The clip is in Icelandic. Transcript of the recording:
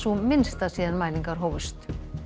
minnsta síðan mælingar hófust